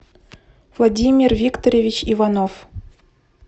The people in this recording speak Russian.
владимир викторович иванов